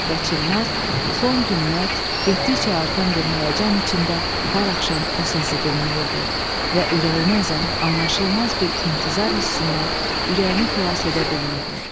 Və Çimnaz son günlər getdikcə artan bir həyəcan içində hər axşam o səsi dinləyirdi və ürəyini əzən, anlaşılmaz bir intizar hissindən ürəyini xilas edə bilmirdi.